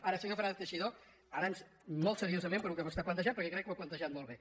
ara senyor fernández teixidó ara molt seriosament pel que vostè ha plantejat perquè crec que ho ha plantejat molt bé